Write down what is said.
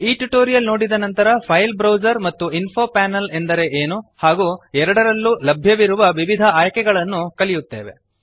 ಈ ಟ್ಯುಟೋರಿಯಲ್ ನೋಡಿದ ನಂತರ ಫೈಲ್ ಬ್ರೌಜರ್ ಮತ್ತು ಇನ್ಫೊ ಪ್ಯಾನೆಲ್ ಎಂದರೆ ಏನು ಹಾಗೂ ಎರಡರಲ್ಲಿಯೂ ಲಭ್ಯವಿರುವ ವಿವಿಧ ಆಯ್ಕೆಗಳನ್ನು ಕಲಿಯುತ್ತೇವೆ